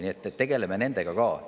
Nii et tegeleme nende asjadega ka.